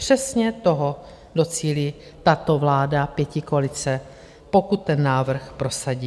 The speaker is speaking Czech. Přesně toho docílí tato vláda pětikoalice, pokud ten návrh prosadí.